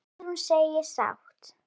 Guðrún segist sátt.